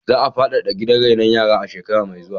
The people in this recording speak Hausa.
Za a faɗaɗa gidan rainon yaran a shekara mai zuwa.